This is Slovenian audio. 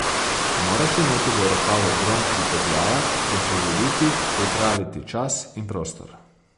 Moraš imeti v rokavu grom pripetljaja, ga prirediti, pripraviti čas in prostor.